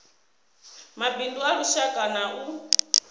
mabindu a lushaka na a